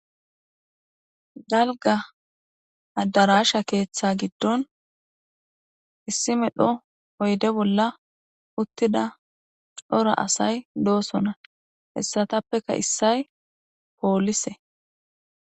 Dalga addarasha keeththe giddon issi medho oyde bolla uttida cora asay doosona hessatappeka issay poolise